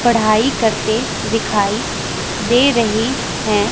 पढ़ाई करते दिखाई दे रही हैं।